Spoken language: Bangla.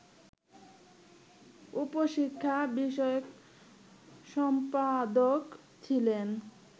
উপ-শিক্ষাবিষয়ক সম্পাদক ছিলেন